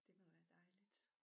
Det må være dejligt